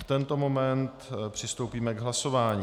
V tento moment přistoupíme k hlasování.